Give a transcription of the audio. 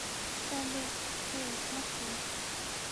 салют эй смотри